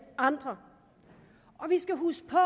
andre vi skal huske på